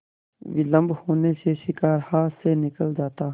विलम्ब होने से शिकार हाथ से निकल जाता